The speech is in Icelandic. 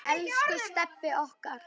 Elsku Stebbi okkar.